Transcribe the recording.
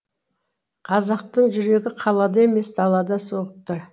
қазақтың жүрегі қалада емес далада соғып тұр